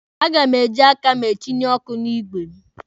A ga m eji aka m etinye ọkụ n'igwe m.